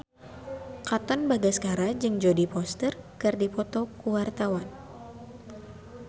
Katon Bagaskara jeung Jodie Foster keur dipoto ku wartawan